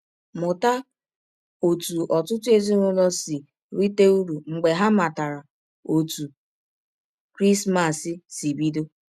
Mụta ọtụ ọtụtụ ezinụlọ si rite ụrụ mgbe ha matara ọtụ Krismas si bidọ.